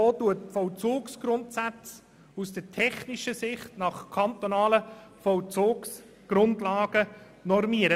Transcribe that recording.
Dieser normiert die Vollzugsgrundsätze aus der technischen Sicht nach kantonalen Vollzugsgrundlagen.